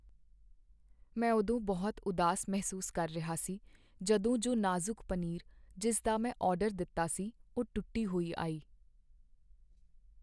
ਮੈਂ ਉਦੋਂ ਬਹੁਤ ਉਦਾਸ ਮਹਿਸੂਸ ਕਰ ਰਿਹਾ ਸੀ ਜਦੋਂ ਜੋ ਨਾਜ਼ੁਕ ਪਨੀਰ ਜਿਸ ਦਾ ਮੈਂ ਆਰਡਰ ਦਿੱਤਾ ਸੀ, ਉਹ ਟੁੱਟੀ ਹੋਈ ਆਈ।